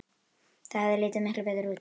Það hefði litið miklu betur út.